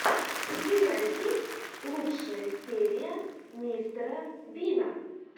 у тебя есть лучшая серия мистера бина